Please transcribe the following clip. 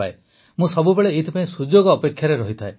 ମୁଁ ସବୁବେଳେ ଏଥିପାଇଁ ସୁଯୋଗ ଅପେକ୍ଷାରେ ଥାଏ